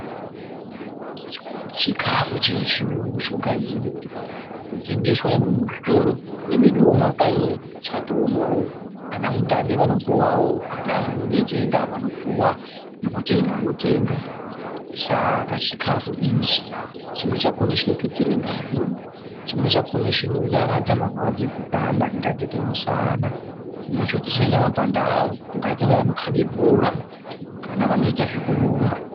Chikafu chechiyungu chogadzirirwa kutengeswa nyangwe muzvitoro, nemweduwo mumakanyi chatoomwoo, ana mutape vanopuwawo, anaani veitenga, vanopuwa ne kutenga votenga. Saka chikafu ichi chimweni chakhona chinotutsire ngazi, chimweni chakhona chinonyaradza marwadzo ekupanda kungaite kwemushana, chimweni chakhona chodzosa nyama pandau kune vaya vanoite zvekukhaba bhora kana vanoite zvekurumba.